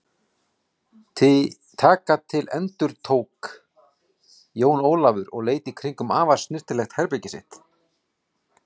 Taka til endurtók Jón Ólafur og leit í kringum afar snyrtilegt herbergið sitt.